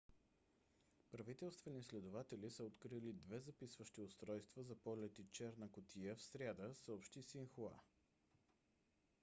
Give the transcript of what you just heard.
правителствени следователи са открили две записващи устройства за полети черна кутия в сряда съобщи синхуа